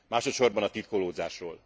Másodsorban a titkolódzásról.